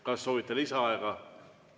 Kas soovite lisaaega?